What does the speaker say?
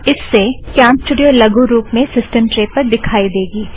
इस से कॅमस्टूड़ियो लगु रुप में सिस्टम ट्रे पर दिखाई देगी